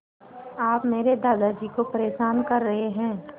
आप मेरे दादाजी को परेशान कर रहे हैं